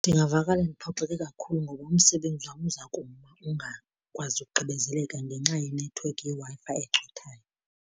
Ndingavakala ndiphoxeke kakhulu ngoba umsebenzi wam uza kuma ungakwazi ukugqibezeleka ngenxa yenethiwekhi yeWi-Fi ecothayo.